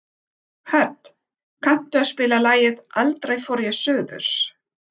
Hödd, kanntu að spila lagið „Aldrei fór ég suður“?